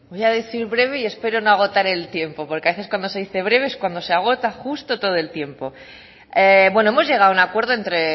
voy a decir breve y espero no agotar no agotar el tiempo porque a veces cuando se dice breve es cuando se agota justo todo el tiempo bueno hemos llegado a un acuerdo entre